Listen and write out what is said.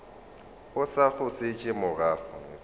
o sa go šetše morago